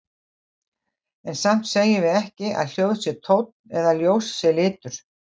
En samt segjum við ekki að hljóð sé tónn eða að ljós sé litur.